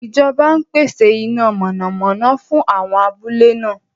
Ìjọba ń pèsè iná mọ̀nàmọ́ná fún àwọn abúlé náà.